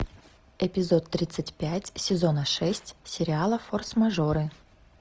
эпизод тридцать пять сезона шесть сериала форс мажоры